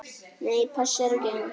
Nei, passar ekki enn!